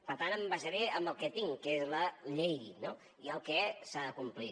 per tant em basaré en el que tinc que és la llei no i el que s’ha de complir